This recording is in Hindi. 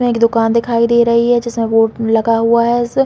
यहाँ एक दुकान दिखाई दे रही है जिसमे बोर्ड लगा हुआ है ऐसे --